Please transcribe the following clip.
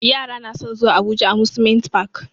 Yara na san zuwa abuja amusement park